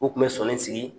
U tun bɛ sɔnni sigi